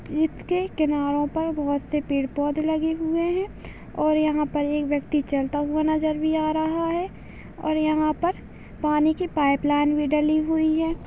जिस के किनारों पर बहुत से पेड़-पौधे लगे हुए है और यहाँ पर एक व्यक्ति चलता हुआ नजर भी आ रहा है और यहाँ पर पानी की पाइप लाइन भी डली हुई है।